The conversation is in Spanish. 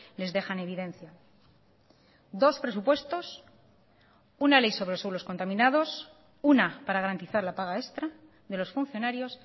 les deja en evidencia dos presupuestos una ley sobre los suelos contaminados una para garantizar la paga extra de los funcionarios